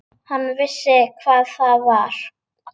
Hann vissi hvað það var.